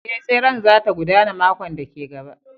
Ee, tseren za ta gudana makon da ke gaba